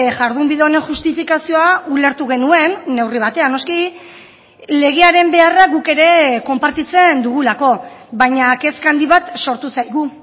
jardunbide honen justifikazioa ulertu genuen neurri batean noski legearen beharra guk ere konpartitzen dugulako baina kezka handi bat sortu zaigu